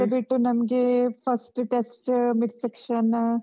ಅದು ಬಿಟ್ಟು ನಮ್ಗೆ first test mid section .